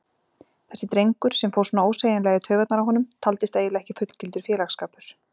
Þessi drengur, sem fór svona ósegjanlega í taugarnar á honum, taldist eiginlega ekki fullgildur félagsskapur.